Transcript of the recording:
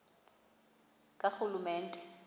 karhulumente